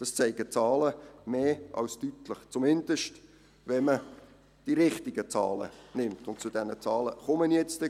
Dies zeigen die Zahlen mehr als deutlich, zumindest, wenn man die richtigen Zahlen nimmt, und zu diesen Zahlen komme ich gleich.